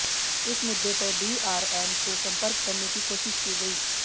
इस मुद्दे पर डीआरएम से सपंर्क करने की कोशिश की गई